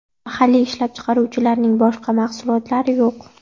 Mahalliy ishlab chiqaruvchilarning boshqa mahsulotlari yo‘q.